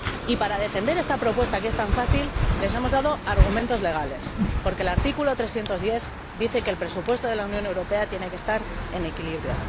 Y, para defender esta propuesta, que es tan fácil, les hemos dado argumentos legales, porque el artículo 310 del TFUE dice que el presupuesto de la Unión Europea tiene que estar en equilibrio.